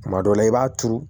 Kuma dɔw la i b'a turu